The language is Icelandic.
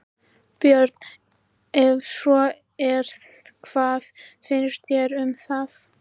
Björn: Ef svo er, hvað finnst þér um það?